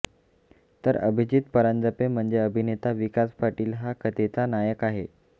तर अभिजित परांजपे म्हणजे अभिनेता विकास पाटील हा कथेचा नायक आहे